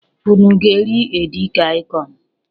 Unu ga-eri edikaịkọn?